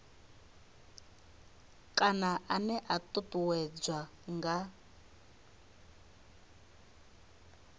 kana ene a ṱuṱuwedzwa nga